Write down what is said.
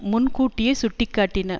முன் கூட்டியே சுட்டி காட்டின